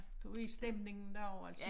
Der er stemningen der også altså